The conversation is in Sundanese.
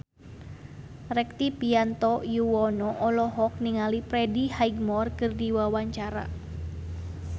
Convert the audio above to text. Rektivianto Yoewono olohok ningali Freddie Highmore keur diwawancara